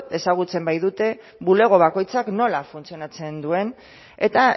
ezagutzen baitute bulego bakoitzak nola funtzionatzen duen eta